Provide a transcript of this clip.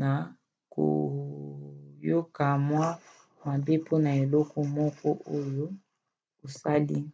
na koyoka mwa mabe mpona eloko moko oyo osali